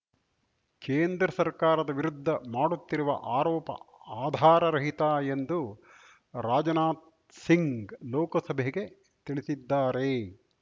ಕೇಂದ್ರ ಸರ್ಕಾರದ ವಿರುದ್ಧ ಮಾಡುತ್ತಿರುವ ಆರೋಪ ಆಧಾರ ರಹಿತ ಎಂದು ರಾಜನಾಥ್‌ ಸಿಂಗ್‌ ಲೋಕಸಭೆಗೆ ತಿಳಿಸಿದ್ದಾರೆ